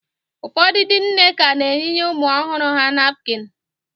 Ụfọdụ ndị nne ka na-eyinye ụmụ ọhụrụ ha napkịn